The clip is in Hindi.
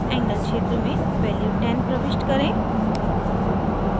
angle क्षेत्र में value 10 प्रविष्ट करें